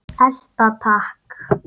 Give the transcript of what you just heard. Elta takk!